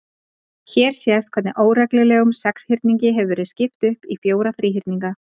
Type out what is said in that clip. Hér sést hvernig óreglulegum sexhyrningi hefur verið skipt upp í fjóra þríhyrninga.